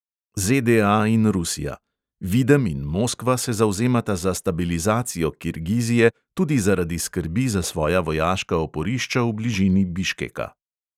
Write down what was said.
ZDA in rusija: videm in moskva se zavzemata za stabilizacijo kirgizije tudi zaradi skrbi za svoja vojaška oporišča v bližini biškeka.